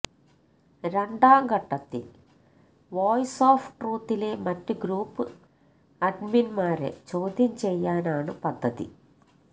രണ്ടാം ഘട്ടത്തിൽ voice of ട്രൂത്തിലെ മറ്റ് ഗ്രൂപ്പ് അഡ്മിന്മാരെ ചോദ്യം ചെയ്യാനാണ് പദ്ധതി